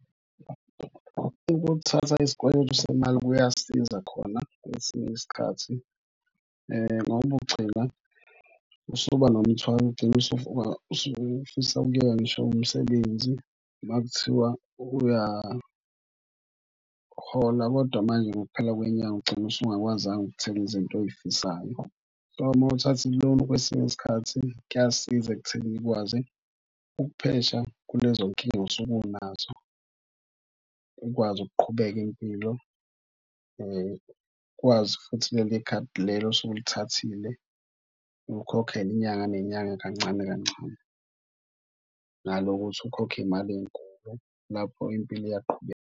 Ukuthatha isikweletu semali kuyasiza khona kwesinye isikhathi ngoba ugcina usuba nomthwalo udinga usufisa ukuyeka ngisho umsebenzi uma kuthiwa uyahola kodwa manje ngokuphela kwenyanga ugcina usungakwazanga ukuthenga izinto oyifisayo. So, mawuthatha iloni kwesinye isikhathi kuyasiza ekuthenini ukwazi ukuphesha kulezo nkinga osuke unazo. Ukwazi ukuqhubeka impilo, ukwazi futhi kuleli khadi lelo osuke ulithathile ulikhokhele inyanga nenyanga kancane kancane nanokuthi ukhokhe imali ey'nkulu lapho impilo iyaqhubeka.